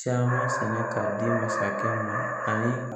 Caman sɛnɛ k'a di masakɛ ma ani